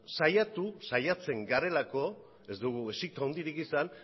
saiatu saiatzen garelako ez dugu exito handirik izan